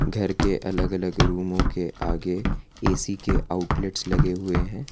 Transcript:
घर के अलग अलग रूमों के आगे ए_सी के आउटलेट्स लगे हुए हैं।